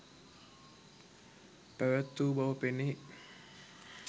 පැවැත් වූ බව පෙනේ